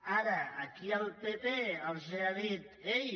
ara aquí el pp els ha dit ei